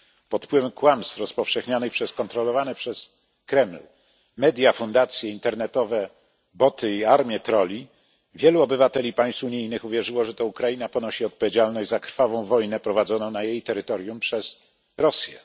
Pod wpływem kłamstw rozpowszechnianych przez kontrolowane przez Kreml media, fundacje, internetowe boty i armię trolli wielu obywateli państw unijnych uwierzyło, że to Ukraina ponosi odpowiedzialność za krwawą wojnę prowadzoną na jej terytorium przez Rosję.